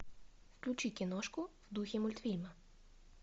включи киношку в духе мультфильма